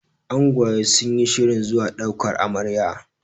angwaye sun yi shirin zuwa daukar Amarya